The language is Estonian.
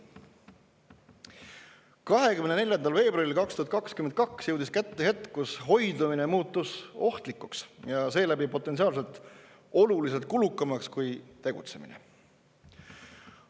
24. veebruaril 2022 jõudis kätte hetk, kus hoidumine muutus ohtlikuks ja seeläbi potentsiaalselt oluliselt kulukamaks kui tegutsemine.